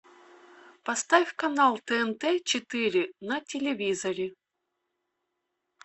поставь канал тнт четыре на телевизоре